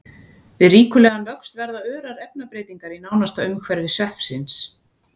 Við ríkulegan vöxt verða örar efnabreytingar í nánasta umhverfi sveppsins.